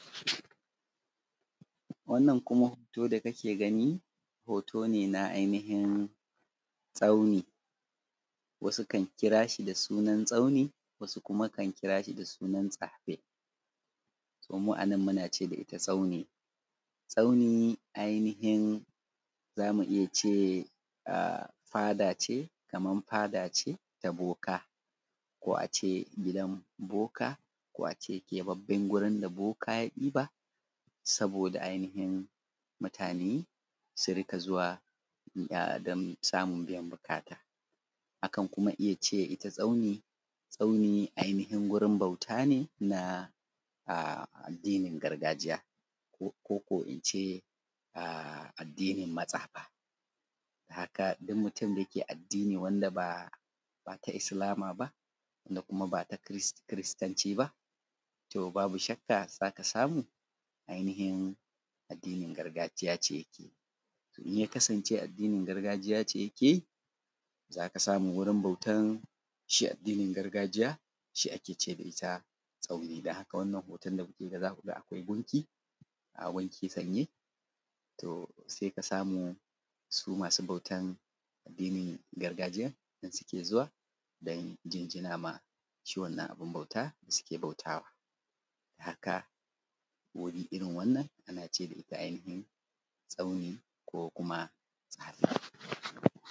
Wannan kuma hoto da kake gani hoto ne ai nihin tsauni, wasu kan kirashi da sunan tsauni wasu kam kirashi da sunan tsane, to mu anan munace dashi tsauni. Tsauni ai nihin zamu iya ce Kaman fada ce ta boka ko a ce gidan boka, ko a ce keɓaɓɓen gurin da boka ya ɗiba saboda ai nihin mutane su rinƙa zuwa dan samun biyan buƙata. A kan iyya ce itta tsauni, tsauni ai nihin gurin bauta ne na addinin gargajiya, ko kuma ince addinin matsafa. Kaga in mutun dake addini wanda bata islama ba kuma bata kiristanci ba, to babu shakka zaka samu ai nihin addini gargajiya ce, inya kasance addinin gargajiya ce yake zaka samu wurin bautan shi addinin gargajiya shi akece da itta tsauni dan haka wannan hoton da kuke gani zakuga akwai junki, ga gunki sanye to saika samu su masu bautan addinin gargajiyan nan suke zuwa dan jinjiwa shi wannan abun bautan da suke bautawa haka wuri irrin wannan a nace da itta tsauni ko kuma tsane.